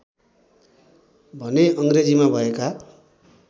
भने अङ्ग्रेजीमा भएका